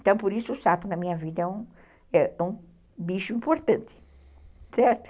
Então, por isso, o sapo na minha vida é um bicho importante, certo?